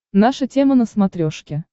наша тема на смотрешке